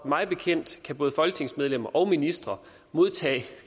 mig bekendt kan både folketingsmedlemmer og ministre modtage